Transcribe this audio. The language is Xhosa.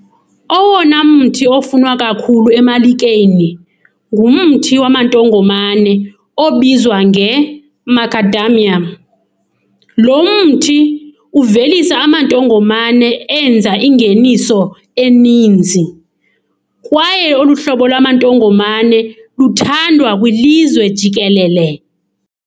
Owona mthi ofunwa kakhulu emalikeni ngumthi wamantongomane obizwa nge-Macadamia. Lo mthi uvelisa amantongomane enza ingeniso eninzi, kwaye olu hlobo lwamantongomane luthandwa kwilizwe jikelele.